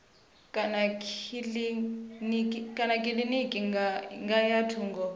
kana kilinikini ya nga thungo